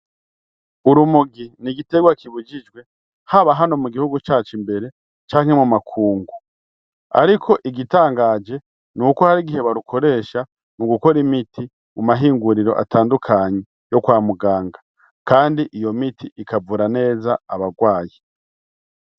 Uri umugi ni igitegwa kibujijwe haba hano mu gihugu cacu imbere canke mu makungu, ariko igitangaje ni uko hari igihe barukoresha mu gukora imiti mu mahinguriro atandukanyi yo kwa muganga, kandi iyo miti ikavura neza abarwaye.